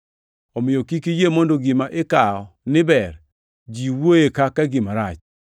Omiyo kik iyie mondo gima ikawo ni ber, ji wuoye kaka gima rach.